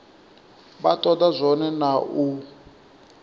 vha toda zwone na u